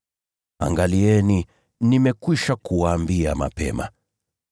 Angalieni, nimekwisha kuwaambia mapema.